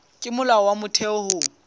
ke molao wa motheo ho